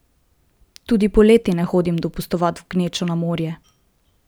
Tudi poleti ne hodim dopustovat v gnečo na morje.